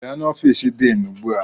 Bịa n'ofiisi diinu ugbu a!